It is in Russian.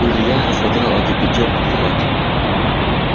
илья рассмотрел эту пятёрку внимательно